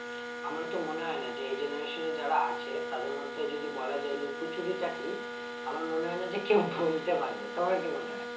আমার তো মনে হয়ে না যে এই generation এ যারা আছে তাদের মধ্যে যদি বলা যায় লুকোচুরি টা কি আমার মনে হয়ে না যে কেও বলতে পারবে তোমার কি মনে হয়ে?